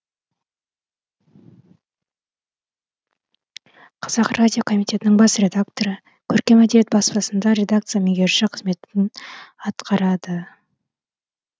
қазақ радио комитетінің бас редакторы көркем әдебиет баспасында редакция меңгерушісі қызметін атқарды